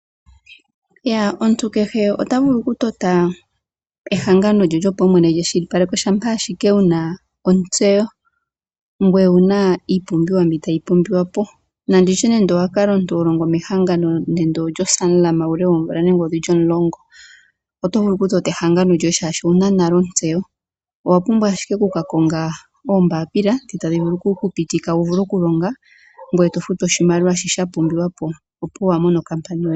Omuntu kehe ota vulu okutota ehangano lye lyopaumwene lyekwashilipaleko shampa ashike ena ontseyo nowuna iipumbiwa mbi tayi pumbiwa po. Nande ngele omuntu owa kala ho longo mehangano lyo Sanlam oomvula dhili omulongo oto vulu oku tota ehangano lyoye oshoka owuna nale ontseyo, shi wapumbwa oku ka konga ashike oombapila ndhi dha pumbiwa noku futa oshimaliwa opuwo owa mona nale ehangano lyoye.